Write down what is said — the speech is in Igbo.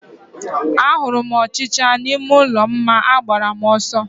A hụrụ m ọchịchịa n'ime ụlọ m ma agbara m ọsọ